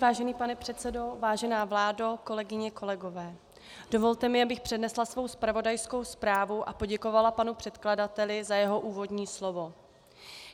Vážený pane předsedo, vážená vládo, kolegyně, kolegové, dovolte mi, abych přednesla svou zpravodajskou zprávu a poděkovala panu předkladateli za jeho úvodní slovo.